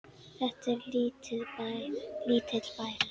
Þetta er lítill bær.